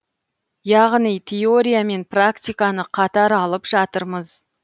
яғни теория мен практиканы қатар алып жатырмыз